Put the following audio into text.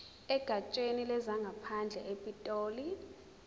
egatsheni lezangaphandle epitoli